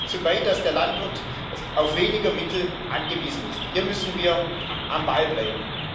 Sie trägt dazu bei, dass der Landwirt auf weniger Mittel angewiesen ist. Hier müssen wir am Ball bleiben.